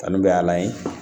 Kanu bɛ a la yen